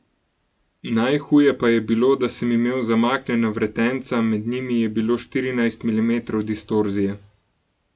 Najhuje pa je bilo, da sem imel zamaknjena vretenca, med njimi je bilo štirinajst milimetrov distorzije.